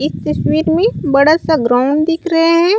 इस तस्वीर में बड़ा-सा ग्राउंड दिख रहे है।